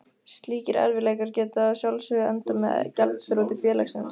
Slíkir erfiðleikar geta að sjálfsögðu endað með gjaldþroti félagsins.